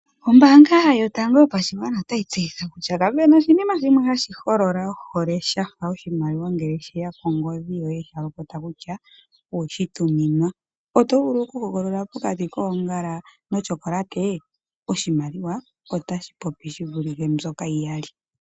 Ombaanga yotango yopashiwana otayi tseyitha kutya kapena oshinima hashi holola ohole shafa oshimaliwa ngele sheya kongodhi toye sha lopota kutya owe shi tuminwa. Oto vulu oku hogolola pokati koongala no chokolate? Oshimaliwa otashi popi shi vulile mbyoka yi yali.